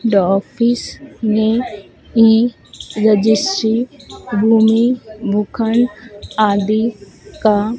दो ऑफिस में ही रजिस्ट्री भूमि भूखन आदि का--